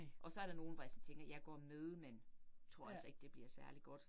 Og så er der nogle, hvor jeg sådan tænker, jeg går med, men tror altså ikke det bliver særlig godt